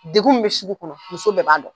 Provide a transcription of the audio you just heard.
Degun min bɛ sugu kɔnɔ , muso bɛɛ b'a dɔn.